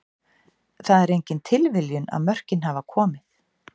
Það er engin tilviljun að mörkin hafa komið.